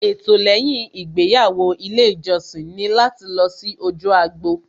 Ètò lẹ́yìn ìgbéyàwó ilé ìjọsìn ni láti lọ sí ojú agbo